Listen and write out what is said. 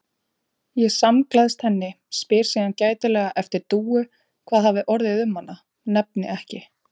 Ég samgleðst henni, spyr síðan gætilega eftir Dúu, hvað hafi orðið um hana, nefni ekki